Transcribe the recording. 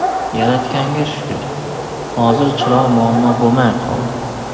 Yaratganga shukr, hozir chiroq muammo bo‘lmay qoldi.